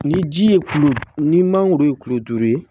Ni ji ye kulo ni mangoro ye kulo duuru ye